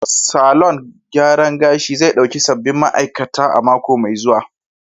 Salon gyaran gashi zai dauki sabbin ma'aikata a mako mai zuwa.